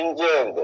İkinci evdir.